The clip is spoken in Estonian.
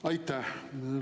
Aitäh!